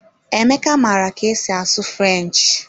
Emeka maara ka esi asụ French.